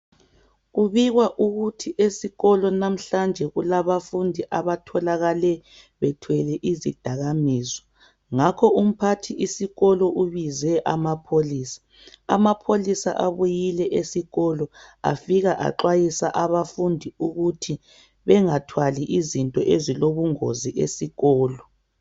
Kubikwa ukuthi esikolo namhlanje kulabafundi abatholakale bethwele izidakamizwa ngakho umphathi isikolo ubize amapholisa. Amapholisa abuyile esikolo afika axwayisa abafundi ukuthi bengathwali izinto ezilobungozi esikolo